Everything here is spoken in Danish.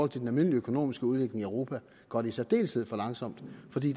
den almindelige økonomiske udvikling i europa går det i særdeleshed for langsomt fordi